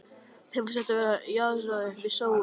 Þeim fannst að þetta jaðraði við sóun.